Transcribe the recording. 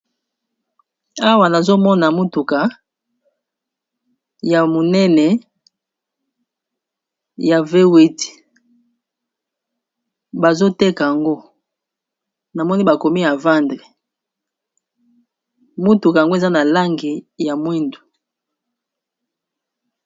Awa nazomona mutuka ya monene ya V8,bazoteka yango namoni bakomi a vendre motuka yango eza na langi ya mwindu.